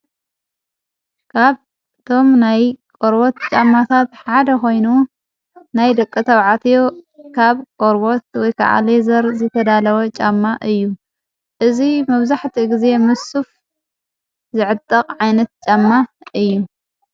ካብ ቶም ናይ ቖርወት ጫማታት ሓደ ኾይኑ ናይ ደቀ ኣብዓትዮ ካብ ቖርቦት ወይከዓል የዘር ዘተዳለወ ጫማ እዩ እዝ መብዛሕቲ እጊዜ ምሱፍ ዝዕጥቕ ዓይነት ጫማ እዩ።